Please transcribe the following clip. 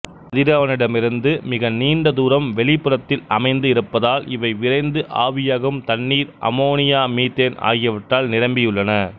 கதிரவனிடமிருந்து மிக நீண்ட தூரம் வெளிப்புறத்தில் அமைந்து இருப்பதால் இவை விரைந்து ஆவியாகும் தண்ணீர் அமோனியா மீதேன் ஆகியவற்றால் நிரம்பியுள்ளன